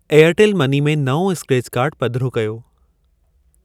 Airtel money में नओं scratch card पधिरो कयो।